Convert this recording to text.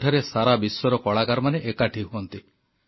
ଯେଉଁଠାରେ ସାରା ବିଶ୍ୱର କଳାକାରମାନେ ଏକାଠି ହୁଅନ୍ତି